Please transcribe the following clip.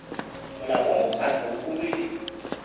molao wa mokgatlo o rwele